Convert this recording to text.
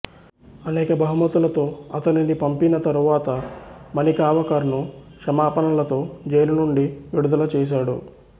అనేక బహుమతులతో అతనిని పంపిన తరువాత మణికావాకర్ను క్షమాపణలతో జైలు నుండి విడుదల చేశాడు